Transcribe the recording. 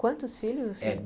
Quantos filhos?